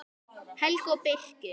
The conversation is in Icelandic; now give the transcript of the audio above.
Helga og Birgir.